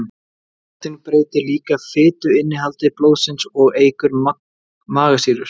Nikótín breytir líka fituinnihaldi blóðsins og eykur magasýrur.